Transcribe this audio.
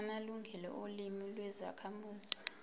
amalungelo olimi lwezakhamuzi